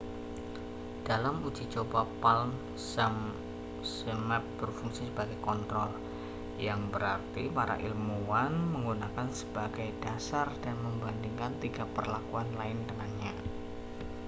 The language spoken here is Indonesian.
dalam uji coba palm zmapp berfungsi sebagai kontrol yang berarti para ilmuwan menggunakannya sebagai dasar dan membandingkan tiga perlakuan lain dengannya